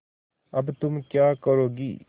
अब तुम क्या करोगी